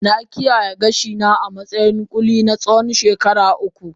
Na kiyaye gashina a matsayin ƙulli na tsawon shekaru uku